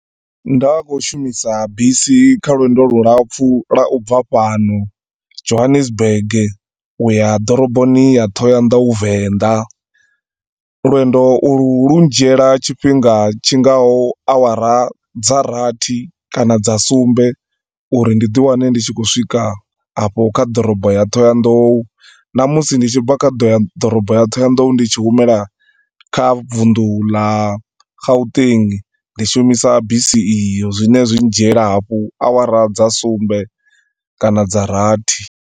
Nda khou shumisa bisi kha lwendo lu lapfu lwa ubva fhano, Johannesburg uya ḓoroboni ya Thohoyandou, Venda. Lwendo ulu lu dzhiela tshifhinga tshingaho awara dza rathi kana dza sumbe uri ndi ḓi wane ndi tshi khou swika afho kha ḓorobo ya Thohoyandou. Na musi ndi tshibva kha ḓorobo ya Thohoyadou ndi tshi humela kha vundu la Gauteng, ndi shumisa bisi iyo. Zwi ne zwi dzhiela hafho awara dza sumbe kana dza rathi.